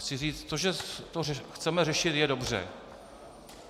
Chci říct to, že to chceme řešit, je dobře.